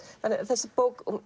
þessi bók